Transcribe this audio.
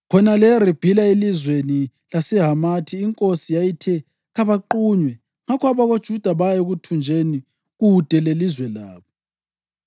Khonale eRibhila, elizweni laseHamathi, inkosi yathi kabaqunywe. Ngakho abakoJuda baya ekuthunjweni kude lelizwe labo.